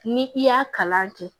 Ni i y'a kalan kɛ